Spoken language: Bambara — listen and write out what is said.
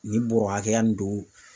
Nin bɔrɔ hakɛ ya nin don.